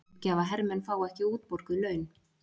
Uppgjafahermenn fá ekki útborguð laun